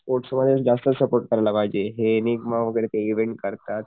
sports मधेच जास्त support केला पाहिजे हे निगमा वैगेरे ते इव्हेंट करतात